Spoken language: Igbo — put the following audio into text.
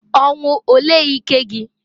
Ọnwụ olee ike gi?